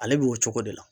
Ale b'o cogo de la